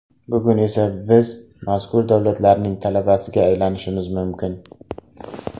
Bugun esa biz mazkur davlatlarning talabasiga aylanishimiz mumkin.